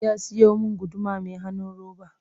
Ya siyo min guduma mai hanun roba